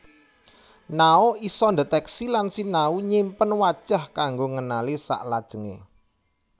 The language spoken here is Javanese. Nao isa ndetèksi lan sinau nyimpen wajah kanggo ngenali saklajengé